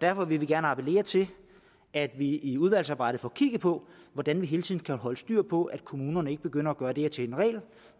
derfor vil vi gerne appellere til at vi i udvalgsarbejdet får kigget på hvordan vi hele tiden kan holde styr på at kommunerne ikke begynder at gøre det her til en regel